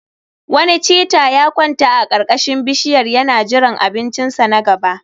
Wani cheetah ya kwanta a karkashin bishiyar yana jiran abincinsa na gaba